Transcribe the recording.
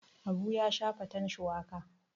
Habu ya sha faten shuwaka.